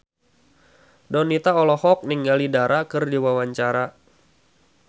Donita olohok ningali Dara keur diwawancara